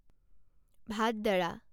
ভাদদাৰা